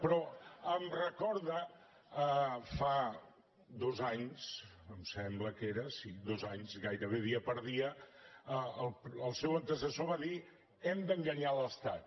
però em recorda fa dos anys em sembla que era sí dos anys gairebé dia per dia el seu antecessor va dir hem d’enganyar l’estat